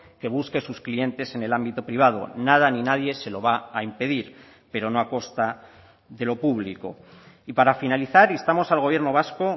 que busque sus clientes en el ámbito privado nada ni nadie se lo va a impedir pero no a costa de lo público y para finalizar instamos al gobierno vasco